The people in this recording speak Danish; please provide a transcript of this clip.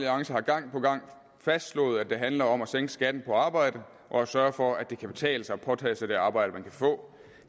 har gang på gang fastslået at det handler om at sænke skatten på arbejde og sørge for at det kan betale sig at påtage sig det arbejde man kan få